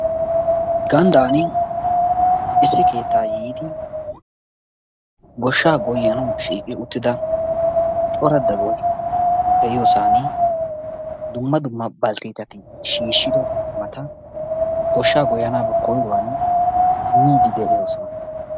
gandaani issi keettaa yiidi goshshaa goyanawu shiiqi uttida cora dagoy de'iyosani dumma dumma balteetati shiishido qumaa goshaa goyanaappe koyruwani miidi de'oosona.